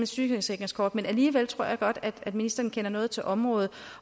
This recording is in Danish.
sygesikringskort men alligevel tror jeg godt at ministeren kender noget til området